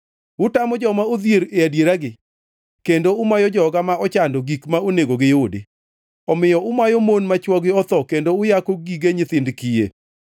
utamo joma odhier e adieragi kendo umayo joga ma ochando gik ma onego giyudi, omiyo umayo mon ma chwogi otho kendo uyako gige nyithind kiye.